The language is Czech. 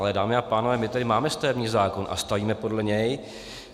Ale dámy a pánové, my tady máme stavební zákon a stavíme podle něj.